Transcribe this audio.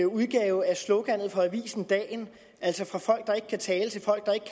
udgave af sloganet for avisen dagen altså fra folk der ikke kan tale til folk der ikke